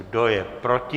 Kdo je proti?